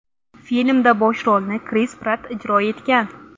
Filmda bosh rolni Kris Pratt ijro etgan.